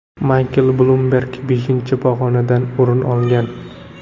Maykl Blumberg beshinchi pog‘onadan o‘rin olgan.